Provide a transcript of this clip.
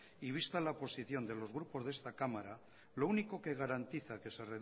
y vista la posición de los grupos de esta cámara lo único que garantiza que se